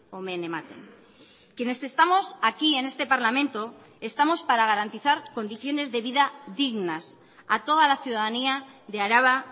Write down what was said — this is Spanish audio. omen ematen quienes estamos aquí en este parlamento estamos para garantizar condiciones de vida dignas a toda la ciudadanía de araba